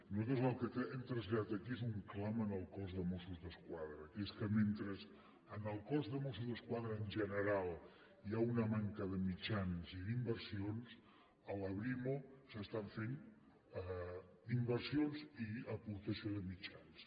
nosaltres el que hem traslladat aquí és un clam al cos de mossos d’esquadra que és que mentre en el cos de mossos d’esquadra en general hi ha un manca de mitjans i d’inversions a la brimo s’estan fent inversions i aportació de mitjans